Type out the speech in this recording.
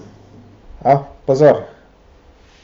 A, pozor.